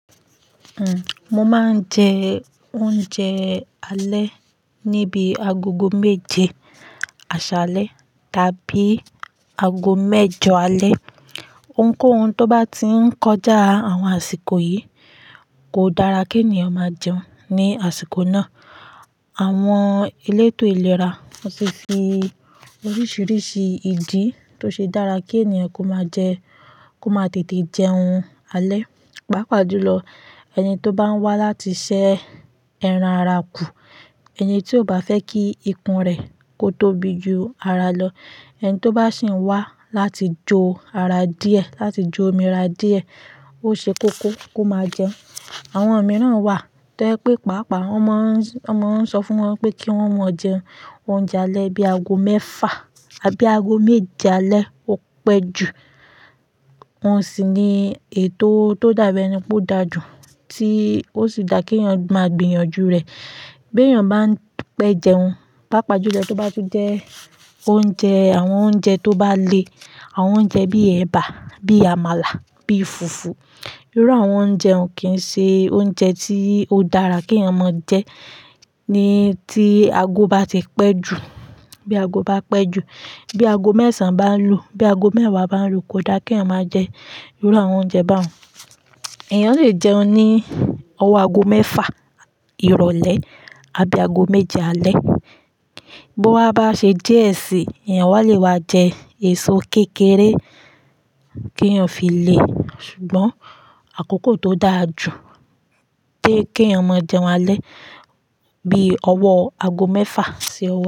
Uhm, mo máa ń jẹ oúnjẹ alẹ́ níbi agogo méje àṣálẹ́ tàbí ago mẹ́jọ alẹ́. Ohunkóhun tó bá ti ń kọjá àwọn àsìkò yìí kò dára kí ènìyàn máa jẹun ní àsìkò náà. Àwọn elétò ìlera won ti fi sí oríṣiríṣi ìdí tó ṣe dára kí ènìyàn kó máa jẹ, kó máa tètè jẹun alẹ́. Paapàa jùlọ, ẹni tó bá ń wá láti ṣe ẹran ara kù, ẹni tí ó bá fẹ́ kí ikùn rẹ̀ kó tóbi ju ara lọ, ẹni tó bá sì ń wá láti jó ara díẹ̀, láti jó omi ara díẹ̀, ó ṣe kókó kó máa jẹun. Àwọn míràn wà tó je pé pàápàá wọ́n máa ń, wọ́n máa ń sọ fún wọn pé kí wọ́n mọ jẹ oúnjẹ alẹ́ bí aago mẹ́fà àbí aago méje alẹ́ ó pẹ́ jù. Wọn sì ní ètò tó dà bi eni pé ó dàjú tí ó sì dà kí èeyàn máa gbìyànjú rẹ̀ bi èeyàn bá ń pẹ́ jẹun. Paapàa jùlọ tí ó bá ti jẹ oúnjẹ, àwọn oúnjẹ tó bá le, àwọn oúnjẹ bíi ẹ̀bà, bíi àmàlà, bíi fùfú. Irú àwọn oúnjẹ hun ò kí ń ṣe oúnjẹ tí ó dára kí èèyàn máa jẹ ní tí ago bá ti pẹ́ jù, bí ago bá pẹ́ jù, bí ago mẹ́sàn án bá ń lù, bí ago mẹ́wàá bá ń lù kò dá kí èeyàn máa jẹ irú àwọn oúnjẹ baun. Èèyàn lè jẹun ní ọwọ́ ago mẹ́fà ìrọ̀lẹ́ àbí ago méje alẹ́. Bí ó wa bá ṣe diẹ́ sí i, èeyàn wá lè wá jẹ èso kékeré kí èèyàn fi le. Ṣùgbọ́n àkókò tó daà jù toyé kí èèyàn máa jẹun alẹ́ bí ọwọ́ ago mẹ́fà ṣi owo.